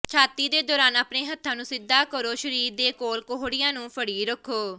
ਛਾਤੀ ਦੇ ਦੌਰਾਨ ਆਪਣੇ ਹੱਥਾਂ ਨੂੰ ਸਿੱਧਾ ਕਰੋ ਸਰੀਰ ਦੇ ਕੋਲ ਕੋਹੜੀਆਂ ਨੂੰ ਫੜੀ ਰੱਖੋ